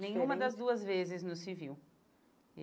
Diferente Nenhuma das duas vezes no civil.